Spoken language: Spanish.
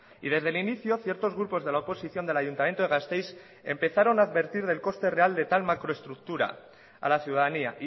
y desde el inicio ciertos grupos de la oposición del ayuntamiento de gasteiz empezaron a advertir del coste real de tal macro estructura a la ciudadanía